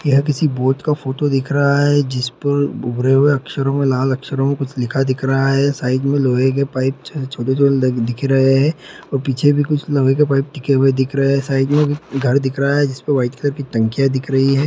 यह किसी बोर्ड का फोटो दिख रहा है जिस पर भूरे हुए अक्षरों में लाल अक्षरों में कुछ लिखा दिख रहा है | साइड में लोहे के पाइप छोटे छोटे दिख रहे हैं और पीछे भी कुछ लोहे के टिके हुए दिख रहे हैं | साइड में घर दिख रहा है जिस पर वाइट कलर की टंकिया दिख रही है।